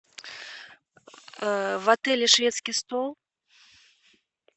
в отеле шведский стол